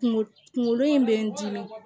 Kunkolo kunkolo in bɛ n dimi